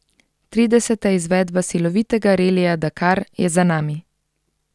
Trideseta izvedba slovitega relija Dakar je za nami.